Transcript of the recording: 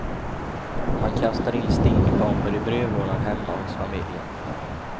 Man kastade in stinkbomber i brevlådan hemma hos familjen.